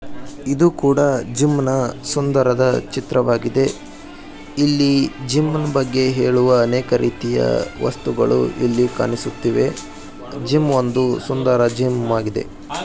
ಇದು ಕೂಡ ಜಿಮ್ ನ ಸುಂದರದ ಚಿತ್ರವಾಗಿದೆ. ಇಲ್ಲಿ ಜಿಮ್ ನ ಬಗ್ಗೆ ಹೇಳುವ ಅನೇಕ ರೀತಿಯ ವಸ್ತುಗಳು ಇಲ್ಲಿ ಕಾಣಿಸುತ್ತಿವೆ. ಜಿಮ್ ಒಂದು ಸುಂದರ ಜಿಮ್ ಆಗಿದೆ.